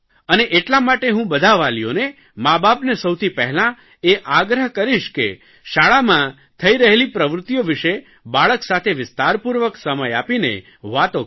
અને એટલા માટે હું બધા વાલીઓને માબાપને સૌથી પહેલાં એ આગ્રહ કરીશ કે શાળામાં થઇ રહેલી પ્રવૃત્તિઓ વિષે બાળક સાથે વિસ્તારપૂર્વક સમય આપીને વાતો કરે